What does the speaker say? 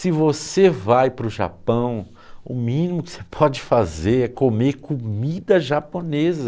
Se você vai para o Japão, o mínimo que você pode fazer é comer comida japonesa.